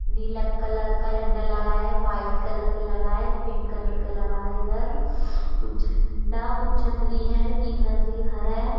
नीला colour का झंडा लगा है वाइट कलर का लगा है पिंक कलर का लगा है इधर कुछ झंडा कुछ छतरी है तीन मंजिल घर है।